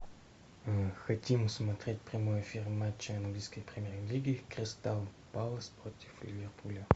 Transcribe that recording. хотим смотреть прямой эфир матча английской премьер лиги кристал пэлас против ливерпуля